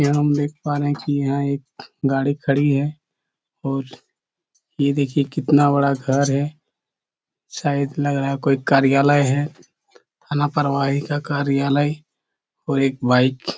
यह हम देख पा रहे है की यहाँ एक गाड़ी खड़ी है और ये देखिए कितना बड़ा घर है शायद लग रहा है कोई कार्यालय है आना प्रवाही का कार्यालय और एक बाइक --